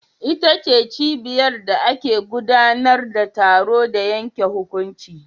Ita ce cibiyar da ake gudanar da taro da yanke hukunci.